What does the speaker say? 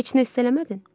Heç nə hiss eləmədin?